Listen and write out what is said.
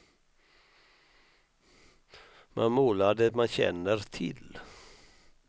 Man målar det man känner till.